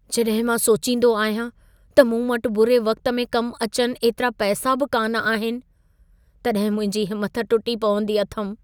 जॾहिं मां सोचींदो आहियां त मूं वटि बुरे वक़्त में कम अचनि एतिरा पैसा बि कान्ह आहिनि, तॾहिं मुंहिंजी हिमत टुटी पवंदी अथमि।